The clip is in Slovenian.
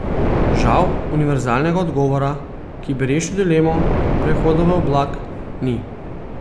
Žal univerzalnega odgovora, ki bi rešil dilemo prehoda v oblak, ni.